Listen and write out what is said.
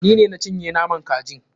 Ni ne na cinye naman kajin.